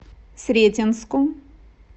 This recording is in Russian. сретенску